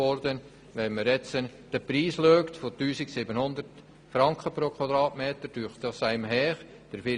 Betrachtet man den Preis von 1700 Franken pro Quadratmeter, so erscheint das als viel.